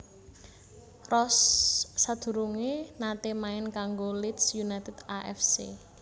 Rose sadurungé naté main kanggo Leeds United A F C